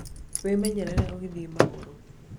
wĩmenyerere ũgĩthie magũrũ